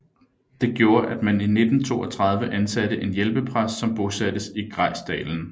Det gjorde at man i 1932 ansatte en hjælpepræst som bosattes i Grejsdalen